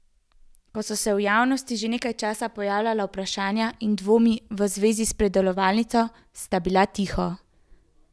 Ko so se v javnosti že nekaj časa pojavljala vprašanja in dvomi v zvezi s predelovalnico, sta bila tiho.